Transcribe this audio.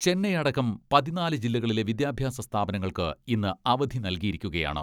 ചെന്നൈ അടക്കം പതിനാല് ജില്ലകളിലെ വിദ്യാഭ്യാസ സ്ഥാപനങ്ങൾക്ക് ഇന്ന് അവധി നൽകിയിരിക്കുകയാണ്.